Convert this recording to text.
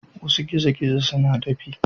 Wasu gizo-gizo suna dafi.